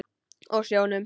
Og sjónum.